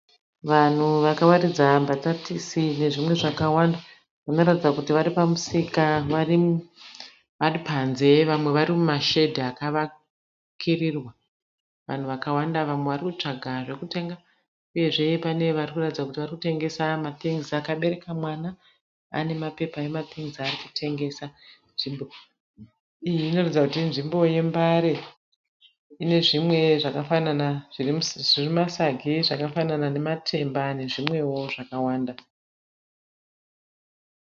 Vanhu vakawaridza mbatatisi nezvimwe zvakawanda vanoratidza kuti vari pamusika vari panze vamwe vari mumashedhi akavakirirwa vanhu vakawanda vamwe varikutsvaga zvekutenga uyezve pane vari kuratidza kuti vari kutengesa ma Things akabereka mwana ane mapepa ema Things aarikutengesa nzvimbo iyi inoratidza kuti inzvimbo yembare ine zvimwe zvakafanana zviri mumasagi zvakafanana nematemba nezvimwewo zvakawanda.